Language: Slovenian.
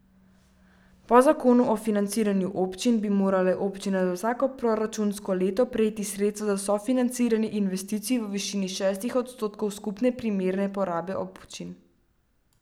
Po zakonu o financiranju občin bi morale občine za vsako proračunsko leto prejeti sredstva za sofinanciranje investicij v višini šestih odstotkov skupne primerne porabe občin.